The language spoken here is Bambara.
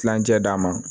Kilancɛ d'a ma